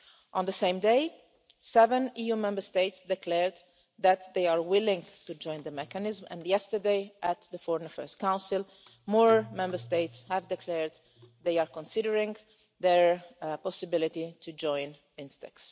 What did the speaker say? On the same day, seven EU Member States declared that they are willing to join the mechanism, and yesterday at the Foreign Affairs Council more Member States declared they are considering the possibility of joining INSTEX.